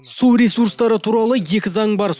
су ресурстары туралы екі заң бар